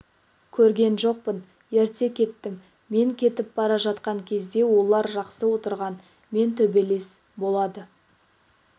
көрген жоқпын ерте кеттім мен кетіп бара жатқан кезде олар жақсы отырған мен төбелес болады